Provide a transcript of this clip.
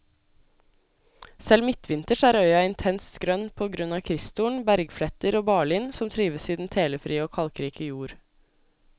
Selv midtvinters er øya intens grønn på grunn av kristtorn, bergfletter og barlind som trives i den telefrie og kalkrike jord.